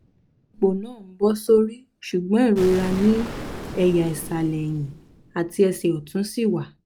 ipò náà ń bọ̀ sórí ṣùgbọ́n ìrora ní ẹ̀yà ìsàlẹ̀ ẹ̀hìn àti ẹsẹ̀ ọ̀tún ṣì wà